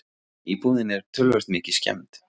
Íbúðin er töluvert mikið skemmd.